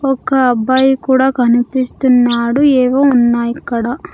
ఒక అబ్బాయి కూడా కనిపిస్తున్నాడు ఏవో ఉన్నాయిక్కడ.